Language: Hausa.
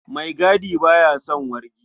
Maigadi ba ya son wargi.